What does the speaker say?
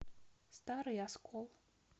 старый оскол